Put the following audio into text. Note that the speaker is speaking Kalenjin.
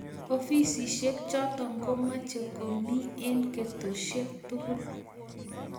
Ofisishek chotok ko mache komie eng' ketoshek tugul